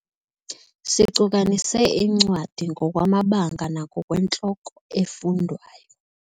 Sicukanise iincwadi ngokwamabanga nangokwentloko efundwayo.